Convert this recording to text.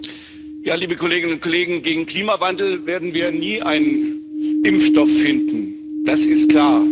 Frau Präsidentin, liebe Kolleginnen und Kollegen! Gegen den Klimawandel werden wir nie einen Impfstoff finden, das ist klar.